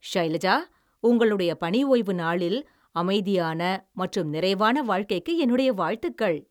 ஷைலஜா, உங்களுடைய பணிஓய்வு நாளில் அமைதியான மற்றும் நிறைவான வாழ்க்கைக்கு என்னுடைய வாழ்த்துகள்.